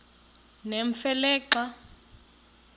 nemfe le xa